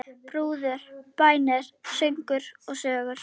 Brúður, bænir, söngur, sögur.